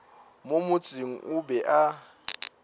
mo motseng o be a